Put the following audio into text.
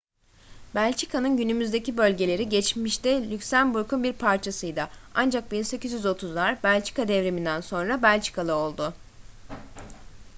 belçika'nın günümüzdeki bölgeleri geçmişte lüksemburg'un bir parçasıydı ancak 1830'lar belçika devrimi'nden sonra belçikalı oldu